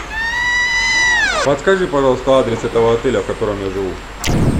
подскажи пожалуйста адрес этого отеля в котором я живу